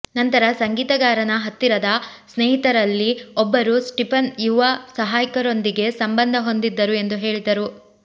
ನಂತರ ಸಂಗೀತಗಾರನ ಹತ್ತಿರದ ಸ್ನೇಹಿತರಲ್ಲಿ ಒಬ್ಬರು ಸ್ಟಿಫನ್ ಯುವ ಸಹಾಯಕರೊಂದಿಗೆ ಸಂಬಂಧ ಹೊಂದಿದ್ದರು ಎಂದು ಹೇಳಿದರು